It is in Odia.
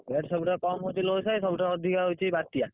Rate ସବୁଠୁ କମ ହଉଛି ସାହି ସବୁଠୁ ଅଧିକ ହଉଛି ବାତ୍ୟା।